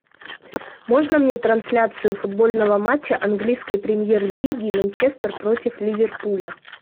можно мне трансляцию футбольного матча английской премьер лиги манчестер против ливерпуля